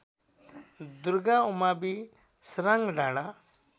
दुर्गा उमावि सराङ्गडाँडा